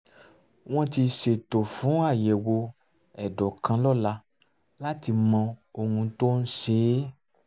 wọ́n ti ṣètò fún àyẹ̀wò ẹ̀dọ̀ kan lọ́la láti mọ ohun tó ń ṣe é